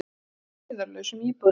Stjáni rölti eirðarlaus um íbúðina.